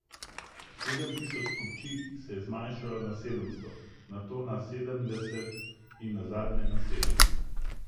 Sedem tisoč kupčij se je zmanjšalo na sedemsto, nato na sedemdeset in nazadnje na sedem.